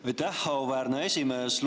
Aitäh, auväärne esimees!